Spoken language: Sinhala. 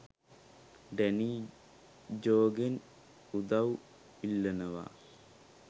ඩැනී ජෝගෙන් උදව් ඉල්ලනවා